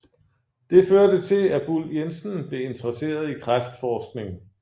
Det førte til at Buhl Jensen blev interesseret i kræftforskning